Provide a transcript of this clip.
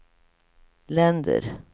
länder